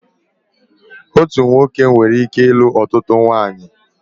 Otu nwoke nwereike ilu ọtụtụ ụmụnwaanyị